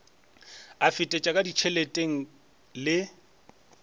a fetetše ka ditšheleteng le